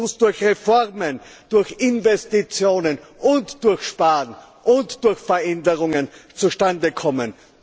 Er muss durch Reformen, durch Investitionen, durch Sparen und durch Veränderungen zustande kommen.